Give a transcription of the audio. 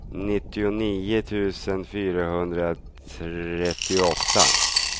nittionio tusen fyrahundratrettioåtta